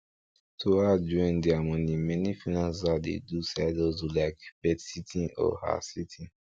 to add join deir money many freelancers dey do side hustle like petsitting or housesitting